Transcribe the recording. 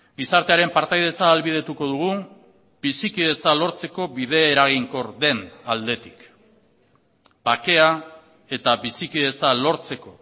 gizartearen partaidetza ahalbidetuko dugu bizikidetza lortzeko bide eraginkor den aldetik bakea eta bizikidetza lortzeko